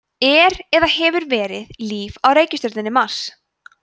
er eða hefur verið líf á reikistjörnunni mars